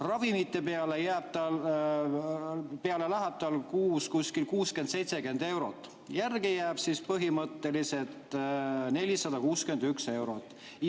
Ravimite peale läheb tal kuus 60–70 eurot, järele jääb tal põhimõtteliselt 461 eurot.